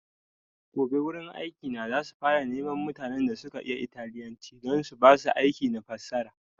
Gobe wurin aiki na za su fara neman mutanen da suka iya italyanci don su basu aiki na fassara